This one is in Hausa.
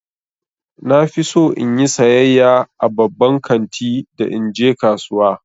Na fi so in yi sayayya a babban kanti da in je kasuwa.